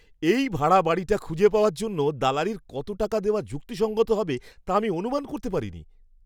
এই ভাড়া বাড়িটা খুঁজে পাওয়ার জন্য দালালির কত টাকা দেওয়া যুক্তিসঙ্গত হবে তা আমি অনুমান করতে পারিনি!